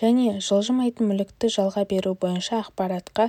және жылжымайтын мүлікті жалға беру бойынша ақпаратқа